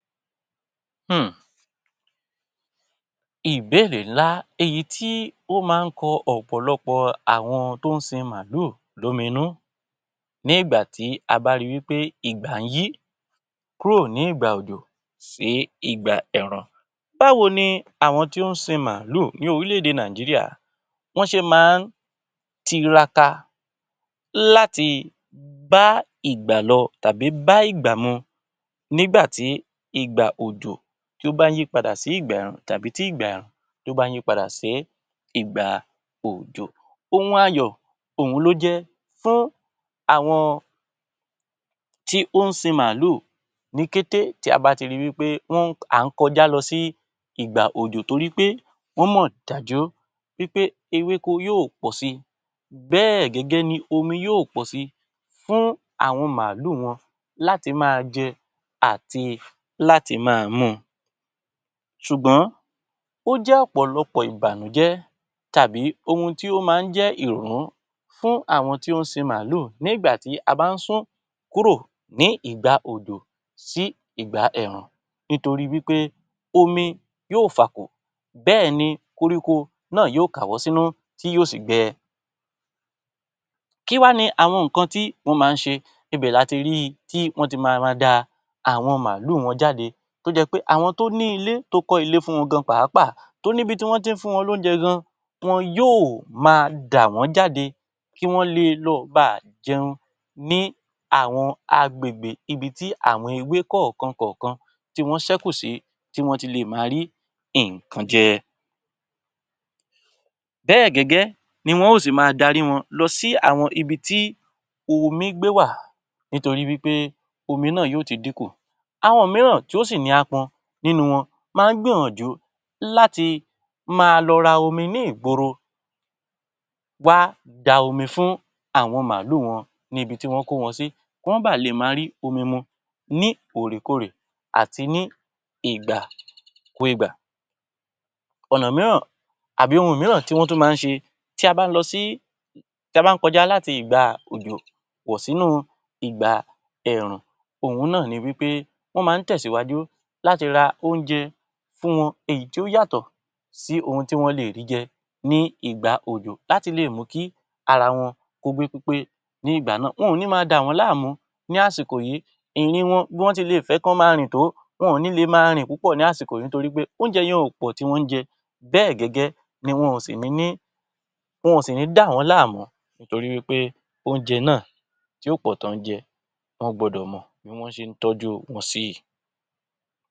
Hmmm ìbéèrè ńlá èyí tí ó máa ń kọ ọ̀pọ̀lọpọ̀ àwọn tó ń sin màálù lómi nú ní ìgbà tí a bá ri wí pé ìgbà ń yí kúrò ní ìgbà òjò sí ìgbà ẹ̀rùn. Báwo ni àwọn tó ń sin màálù ní orílẹ̀-èdè Nàìjíríà wọ́n ṣe máa ń tiraka láti bá ìgbà lọ tàbí bá ìgbà mu nígbà tí ìgbà òjò tí ó bá ń yí padà sí ìgbà ẹ̀rùn tàbí tí ìgbà ẹ̀rùn bá ń yí padà sí ìgbà òjò? Ohun ayọ̀ òhun ló jẹ́ fún àwọn tí ó ń sin màálù ni kété tí a bá ti ri wí pé à ń kọjá lọ sí ìgbà òjò torí pé wọ́n mọ̀ dájú pé ewéko yóò pọ̀ si bẹ́ẹ̀ gẹ́gẹ́ ni omi yóò pọ̀ sí fún àwọn màálù wọn láti máa jẹ àti láti máa mu. Ṣùgbọ́n ó jẹ́ ọ̀pọ̀lọpọ̀ ìbànújẹ́ tàbí ohun tí ó máa ń jẹ́ ìrún fún àwọn tó ń sin màálù nígbà tí a bá ń sún kúrò ní ìgbà òjò sí ìgbà ẹ̀rùn nítorí wí pé omi yóò fàkò, bẹ́ẹ̀ ni koríko náà yóò káwọ́ sínú tí yóò sì gbẹ. Kí wá ni àwọn nǹkan tí wọ́n máa ń ṣe? Ibẹ̀ la ti ríi tí wọ́n ti ma ma da awon màálù wọn jáde tó jẹ́ pé àwọn tó ní ilé, tó kọ́ ilé fún wọn gan-an pàápàá tó níbi tí wọ́n tí ń fún wọn lóúnjẹ gan, wọn yóò máa dà wọ́n jáde kí wọ́n le lọ ba à jẹun ní àwọn agbègbè ibi tí àwọn ewé kọ̀ọ̀kan kọ̀ọ̀kan tí wọ́n ṣẹ́kù sí, tí wọ́n ti lè máa rí nǹkan jẹ. Bẹ́ẹ̀ gẹ́gẹ́ ni wọn ó sì máa dárí wọn lọ sí àwọn ibi tí omi gbé wà nítorí wí pé omi náà yóò ti dínkù. Àwọn mìíràn tí ó sì ní apọn nínú wọn máa ń gbìyànjú láti máa lọ ra omi ní ìgboro wá da omi fún àwọn màálù wọn níbi tí wọ́n kó wọn sí kí wọ́n ba lè máa rí omi mu ni òrèkóòrè àti ní ìgbà kú ìgbà. Ọ̀nà mìíràn àbí ohun mìíràn tí wọ́n tún máa ń ṣe tí a bá lọ sí tí a bá kọjá láti ìgbà òjò bọ̀ sínú ìgbà ẹ̀rùn, òhun náà ni wí pé wọ́n máa ń tẹ̀síwájú láti ra oúnjẹ fún wọn èyí tí ó yàtọ̀ sí ohun tí wọ́n lè rí jẹ ní ìgbà òjò láti lè mú kí ara wọn kó gbé pépé ní ìgbà náà. Wọn ò ní ma dà wọ́n láàmú ní àsìkò yìí. Ìrìn wọn, bí wọ́n ti lè fẹ́ kí wọ́n máa rìn tó, wọn ò ní lè máa rìn púpọ̀ ní àsìkò yìí nítorí pé oúnjẹ yẹn ò pọ̀ tí wọ́n ń jẹ, bẹ́ẹ̀ gẹ́gẹ́ ni wọn ò sì ní ní wọn ò sì ní dà wọ́n láàmú torí wí pé oúnjẹ náà tí ò pọ̀ tí wọ́n ń jẹ wọ́n gbọ́dọ̀ mọ̀ bí wọ́n ṣe ń tọ́jú wọn si.